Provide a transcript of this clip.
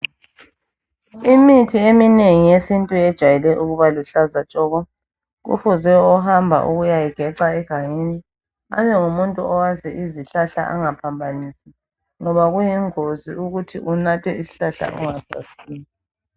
Imithi eminengi yesintu yejwayele ukuba luhlaza tshoko. Kufuze ohamba ukuyawugeca egangeni abe ngumuntu owazi izihlahla engaphambanisi ngoba kuyingozi ukuthi unathe isihlahla ongasaziyo.